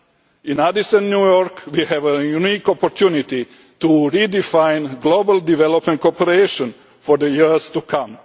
In Addis and New York we have a unique opportunity to redefine global development cooperation for the years to